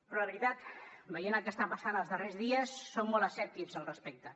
però la veritat veient el que està passant els darrers dies som molt escèptics al respecte